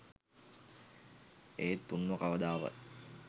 ඒත් උන්ව කවදාවත්.